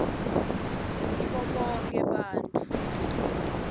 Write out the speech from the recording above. ngibo bonkhe bantfu